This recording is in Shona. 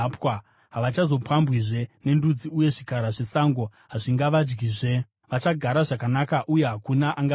Havachazopambwizve nendudzi, uye zvikara zvesango hazvingavadyizve. Vachagara zvakanaka, uye hakuna angavatyisa.